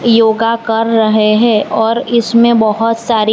योगा कर रहे हैं और इसमें बहोत सारी--